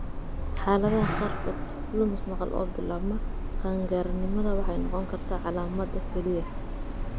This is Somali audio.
Xaaladaha qaarkood, lumis maqal oo bilaabma qaangaarnimada waxay noqon kartaa calaamadda keliya.